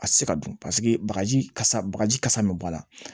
A tɛ se ka dun paseke bagaji kasa bagaji kasa min bɔ a la